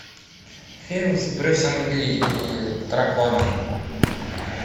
фильм с брюсом ли и драконом